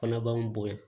Fana b'an bonya